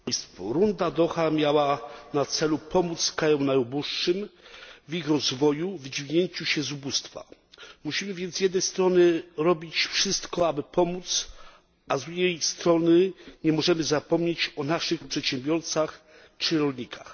Pani przewodnicząca! Runda z Dauha miała na celu pomóc krajom najuboższym w ich rozwoju, w podźwignięciu się z ubóstwa. Musimy więc, z jednej strony, robić wszystko, aby pomóc, a drugiej strony nie możemy zapomnieć o naszych przedsiębiorcach czy rolnikach.